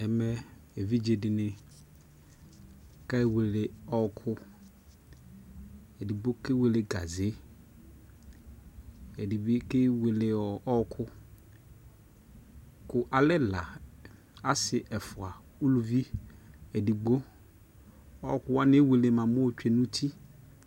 Ɛmɛ evidzexi ni kewele ɔɔkʋ edigbo kewele gazeɛdi bi kewele ɔɔkʋ kʋ alɛ ɛla, asi ɛfua ulʋvi edigbo Ɔɔkʋwani ewele bua mɛ ayotsue nʋ uti